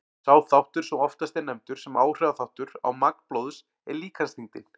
Sá þáttur sem oftast er nefndur sem áhrifaþáttur á magn blóðs er líkamsþyngdin.